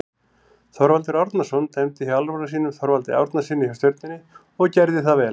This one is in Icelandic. Þorvaldur Árnason dæmdi hjá alnafna sínum Þorvaldi Árnasyni hjá Stjörnunni og gerði það vel.